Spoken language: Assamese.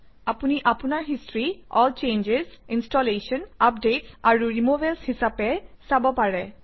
আপুনি আপোনাৰ history all changes installation updates আৰু ৰিমুভেলছ হিচাপে চাব পাৰে